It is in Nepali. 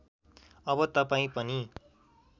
अब तपाईँ पनि